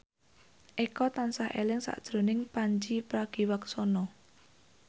Eko tansah eling sakjroning Pandji Pragiwaksono